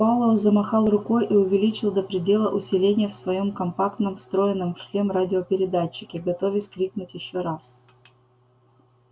пауэлл замахал рукой и увеличил до предела усиление в своём компактном встроенном в шлем радиопередатчике готовясь крикнуть ещё раз